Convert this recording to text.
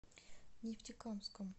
нефтекамском